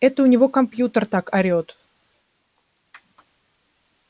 это у него компьютер так орёт